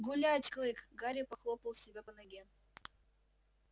гулять клык гарри похлопал себя по ноге